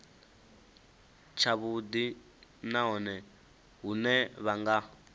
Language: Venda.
tshavhudi nahone hune vha nga